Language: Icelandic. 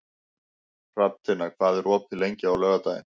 Hrafntinna, hvað er opið lengi á laugardaginn?